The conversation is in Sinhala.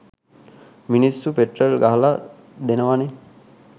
මිනිස්සු පෙට්‍රල් ගහලා දෙනවනෙ